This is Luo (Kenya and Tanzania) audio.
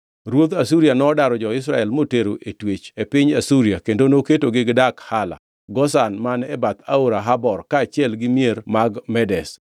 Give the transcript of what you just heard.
Ruodh Asuria nodaro jo-Israel motero e twech e piny Asuria kendo noketogi gidak Hala, Gozan man e bath Aora Habor kaachiel gi mier mag Medes.